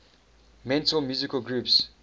metal musical groups